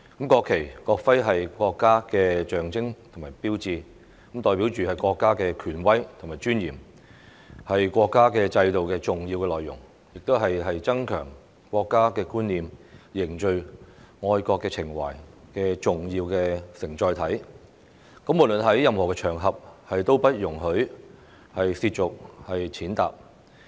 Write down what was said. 國旗、國徽是國家的象徵與標誌，代表國家的權威和尊嚴，是國家制度的重要內容，亦是增強國家觀念、凝聚愛國情懷的重要承載體，無論在任何場合下都不容許褻瀆、踐踏。